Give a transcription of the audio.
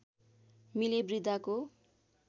मिले वृद्धाको